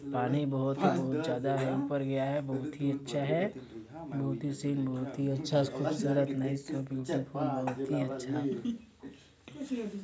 पानी बहोत ही बहोत ज्यादा ही ऊपर पर गया है बहोत ही अच्छा है बहोत ही से बहोत ही अच्छा खूबसूरत नाइस सो ब्यूटीफुल बहोत ही अच्छा --